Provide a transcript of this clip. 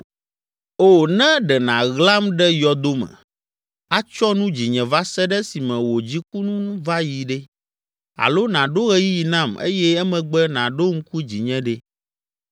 “O, ne ɖe nàɣlam ɖe yɔdo me, atsyɔ nu dzinye va se ɖe esime wò dziku nu va yi ɖe! Alo nàɖo ɣeyiɣi nam eye emegbe nàɖo ŋku dzinye ɖe!